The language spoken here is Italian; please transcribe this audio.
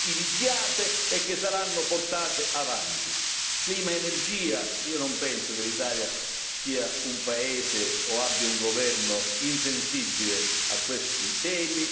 Clima ed energia io non penso che l'Italia sia un paese o abbia un governo insensibile a questi temi che riguardano la sostenibilità ambientale.